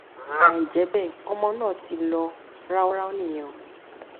àìjẹ bẹẹ ọmọ náà ti lọ ráúráú nìyẹn o